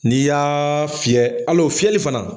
N'i y'aaa fiyɛ, al'o fiyɛli fana.